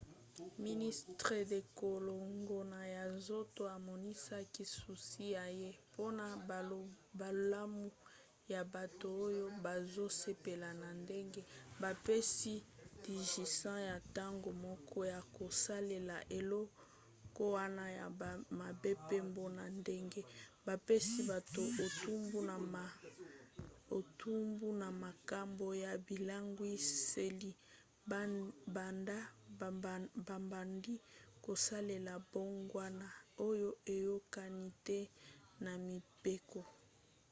ministre ya kolongono ya nzoto amonisaki susi na ye mpona bolamu ya bato oyo bazosepela na ndenge bapesi ndingisa ya ntango moke ya kosalela eloko wana ya mabe pe mpona ndenge bapesi bato etumbu na makambo ya bilangwiseli banda babandi kosalela mbongwana oyo eyokani te na mibeko